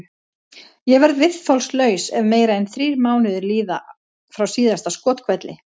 Ég verð viðþolslaus ef meira en þrír mánuðir líða frá síðasta skothvelli.